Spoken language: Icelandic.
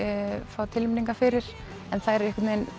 fá tilnefningar fyrir en þær